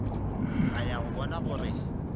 a ya go bona gore